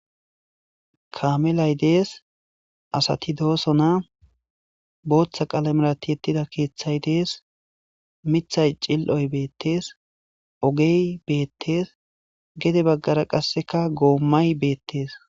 Kaaminay dees asti doosona , booththa aalamera tiyetida keethtay dees mithtay xilloy betees oge beetes gede bagara qasika gommay beetes.